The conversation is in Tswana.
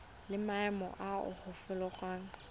le maemo a a farologaneng